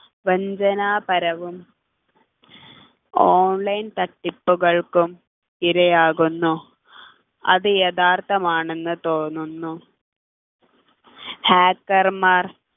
വഞ്ചനാപരവും online തട്ടിപ്പുകൾക്കും ഇരയാകുന്നു അത് യഥാർത്ഥമാണെന്നു തോന്നുന്നു hacker മാർ